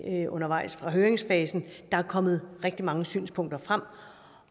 undervejs i høringsfasen der er kommet rigtig mange synspunkter frem